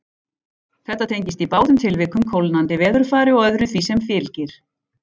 Þetta tengist í báðum tilvikum kólnandi veðurfari og öðru sem því fylgir.